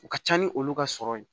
U ka ca ni olu ka sɔrɔ ye